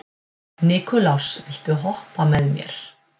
Nikulás, viltu hoppa með mér?